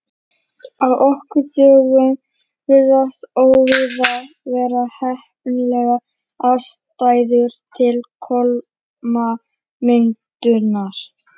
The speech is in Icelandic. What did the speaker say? Á okkar dögum virðast óvíða vera heppilegar aðstæður til kolamyndunar.